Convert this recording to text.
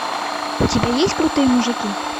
у тебя есть крутые мужики